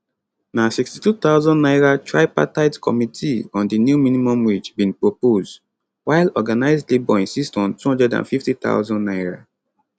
na 62000 naira tripartite committee on di new minimum wage bin propose while organised labour insist on 250000 naira